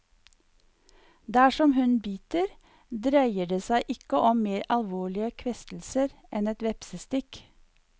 Dersom hun biter, dreier det seg ikke om mer alvorlige kvestelser enn et vepsestikk.